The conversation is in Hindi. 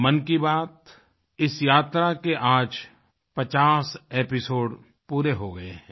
मन की बात इस यात्रा के आज 50 एपिसोड पूरे हो गए हैं